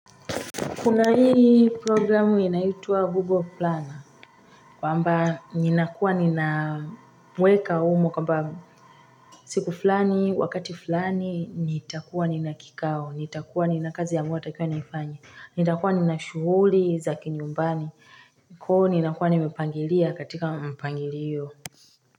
Kuna hii programu inayoitwa Google Planner kwamba ninakuwa ninaweka humo kwamba siku fulani wakati fulani nitakuwa nina kikao nitakuwa nina kazi ambayo natakikana niifanye. Nitakuwa nina shughuli za kinyumbani kwa hiyo ninakuwa nimepangilia katika mpangilio.